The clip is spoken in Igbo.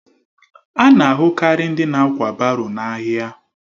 A na-ahụ karị ndị na-ákwà baro n'ahịa